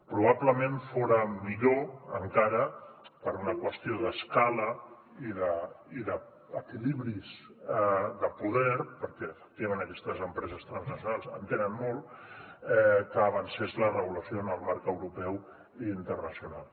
probablement fora millor encara per una qüestió d’escala i d’equilibris de poder perquè efectivament aquestes empreses transnacionals en tenen molt que avancés la regulació en el marc europeu i internacional